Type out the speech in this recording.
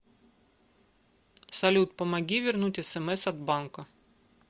салют помоги вернуть смс от банка